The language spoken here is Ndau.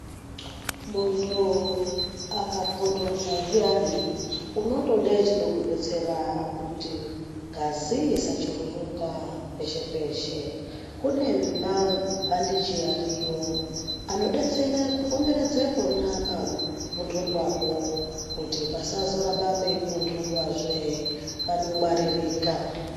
Muntu uka pumhunwa zviyani uunotode chinokudetsera kuti ngazi isai chururuka peshe peshe kune mabhabdichi ariyo anodetsere kupomboredza pona papuhunwa po kuti pasazo ramba pei pumhundwa zve pano ngwaririka.